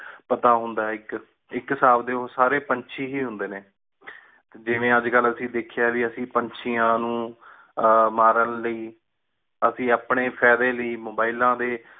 ਪਤਾ ਹੁੰਦਾ ਆਯ ਇਕ ਇਕ ਸਬ ਡੀ ਉ ਸਾਰੇ ਪੰਛੀ ਹੀ ਹੁੰਦੀ ਨੇ ਜਿਵੇ ਅਜ ਕਲ ਅਸੀਂ ਵੇਖਿਆ ਆ ਕੀ ਅਸੀਂ ਪੰਛੀਆਂ ਨੂੰ ਆ ਮਾਰਨ ਲਯੀ ਐਸੀ ਆਪਣੇ ਫਾਇਦੇ ਲਯੀ ਮੋਬਾਈਲਾਂ ਤੇ